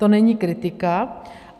To není kritika.